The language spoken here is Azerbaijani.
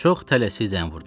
Çox tələsik zəng vurdum.